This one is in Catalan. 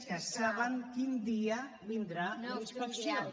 que saben quin dia vindrà la inspecció